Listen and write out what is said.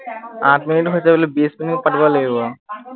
আঠ মিনিট হৈছে বোলো বিশ মিনিট পাতিব লাগিব